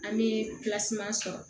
An bɛ sɔrɔ